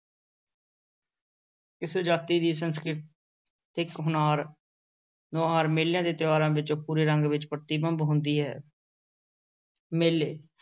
ਕਿਸੇ ਜਾਤੀ ਦੀ ਸੰਸਕ੍ਰਿਤਿਕ ਹੁਨਾਰ ਨੁਹਾਰ ਮੇਲਿਆਂ ਤੇ ਤਿਉਹਾਰਾਂ ਵਿੱਚੋਂ ਪੂਰੇ ਰੰਗ ਵਿੱਚ ਪ੍ਰਤਿਬਿੰਬ ਹੁੰਦੀ ਹੈ ਮੇਲੇ,